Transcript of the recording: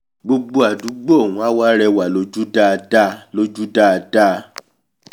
gbogbo àdúgbò ọ̀hún á wá rẹwà lójú dáadáa lójú dáadáa